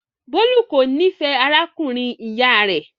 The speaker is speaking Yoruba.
Bólú kò nífẹ̀ẹ́ arákùnrin-ìyá rẹ̀.